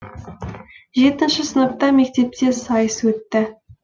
жетінші сыныпта мектепте сайыс өтті